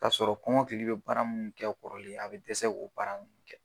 Kasɔrɔ kɔmɔkili be baara munnu kɛ kɔrɔlen a be dɛsɛ k'o baara nunnu kɛ.